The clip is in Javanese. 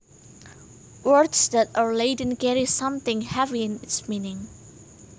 Words that are laden carry something heavy in its meaning